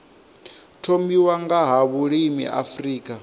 thomiwa nga ha vhulimi afrika